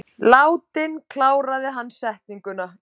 Látinn, kláraði hann setninguna.